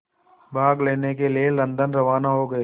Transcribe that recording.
भाग लेने के लिए लंदन रवाना हो गए